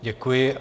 Děkuji.